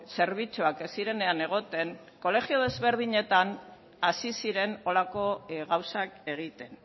zerbitzuak ez zirenean egoten kolegio desberdinetan hasi ziren holako gauzak egiten